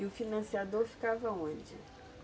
E o financiador ficava onde?